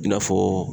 I n'a fɔ